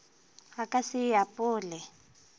a ka se e apole